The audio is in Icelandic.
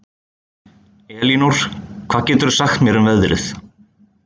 Elinór, hvað geturðu sagt mér um veðrið?